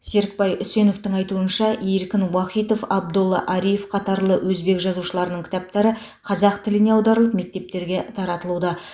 серікбай үсеновтің айтуынша эркин уахитов абдолла ариев қатарлы өзбек жазушыларының кітаптары қазақ тіліне аударылып мектептерге таратылуда